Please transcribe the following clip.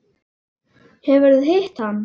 Hefurðu hitt hann?